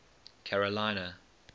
carolina